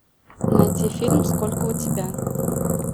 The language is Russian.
найти фильм сколько у тебя